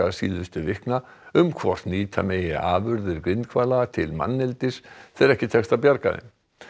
síðustu vikna um hvort nýta megi afurðir til manneldis þegar ekki tekst að bjarga þeim